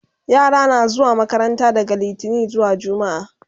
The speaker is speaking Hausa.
yara na zuwa makaranta daga littani zuwa jumma'a